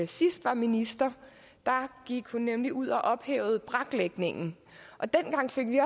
sidst var minister da gik hun nemlig ud og ophævede braklægningen dengang fik vi